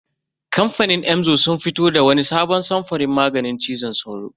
Kamfanin Emzor sun fito da wani sabon samfurin maganin cizon sauro.